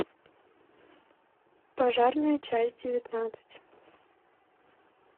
пожарная часть девятнадцать